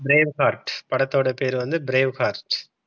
brave heart படத்தோட பேர் வந்து brave heart.